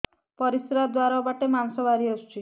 ପରିଶ୍ରା ଦ୍ୱାର ବାଟେ ମାଂସ ବାହାରି ଆସୁଛି